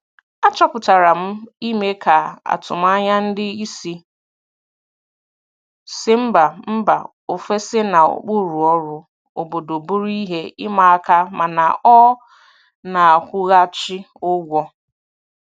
Achọpụtara m ime ka atụmanya ndị isi si mba mba ofesi na ụkpụrụ ọrụ obodo bụrụ ihe ịma aka mana ọ na-akwụghachi ụgwọ.